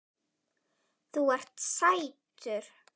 Þú ert sætur!